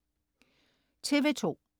TV2: